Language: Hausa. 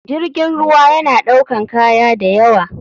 Jirgin ruwa yana ɗaukan kaya dayawa.